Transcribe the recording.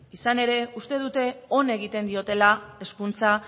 izan ere uste dute on egiten diotela hezkuntza